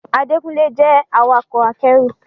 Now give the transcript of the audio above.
Adékúnlé jẹ́ awakọ̀ akẹ́rù